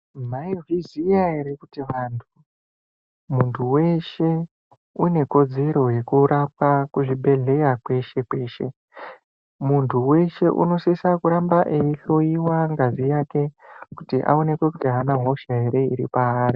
Maizviziya ere kuti vantu, muntu weshe unekodzero yekurapwa kuzvibhedhlera kweshe kweshe. Muntu weshe unosisa kuramba eihloiwa ngazi yake kuti aonekwe kuti ana hosha ere iripaari.